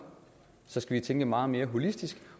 så skal vi tænke meget mere holistisk